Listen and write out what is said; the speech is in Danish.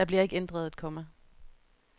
Der bliver ikke ændret et komma.